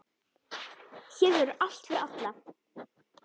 Hér verður allt fyrir alla.